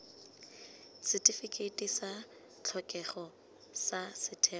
setifikeiti sa tlhokego sa setheo